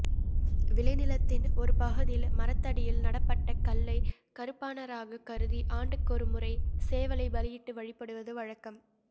விளைநிலத்தின் ஒரு பகுதியில் மரத்தடியில் நடப்பட்ட கல்லை கருப்பனாராகக் கருதி ஆண்டுக்கொருமுறை சேவலைப் பலியிட்டு வழிபடுவது வழக்கம்